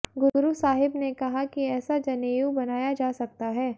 गुरु साहिब ने कहा कि एेसा जनेऊ बनाया जा सकता है